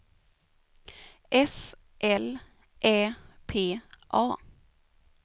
S L Ä P A